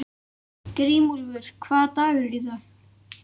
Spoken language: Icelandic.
Grímúlfur, hvaða dagur er í dag?